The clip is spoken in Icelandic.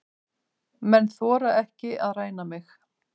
Menn þora ekki að ræna mig.